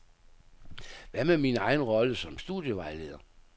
Hvad med min egen rolle som studievejleder.